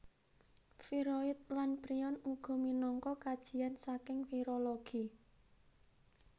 Viroid lan prion uga minangka kajian saking virologi